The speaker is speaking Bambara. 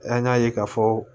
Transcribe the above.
An y'a ye k'a fɔ